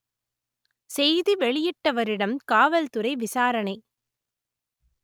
செய்தி வெளியிட்டவரிடம் காவல்துறை விசாரணை